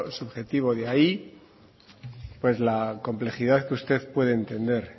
subjetivo de ahí pues la complejidad que usted puede entender